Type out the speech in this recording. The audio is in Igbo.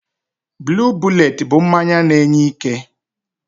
Blue bullet bụ mmanya na-enye ike.